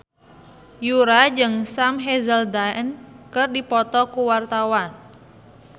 Yura jeung Sam Hazeldine keur dipoto ku wartawan